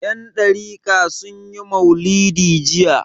Yandariƙa sun yi maulidi jiya.